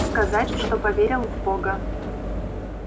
сказать что поверил в бога